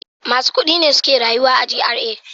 Masu kudi ne suke rayuwa a GRA.